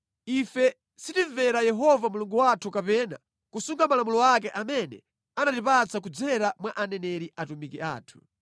Ife sitinamvere Yehova Mulungu wathu kapena kusunga malamulo ake amene anatipatsa kudzera mwa aneneri atumiki ake.